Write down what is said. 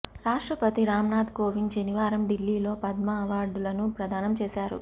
రాష్ట్రపతి రామ్నాథ్ కోవింద్ శనివారం ఢిల్లీలో పద్మా అవార్డులను ప్రదానం చేశారు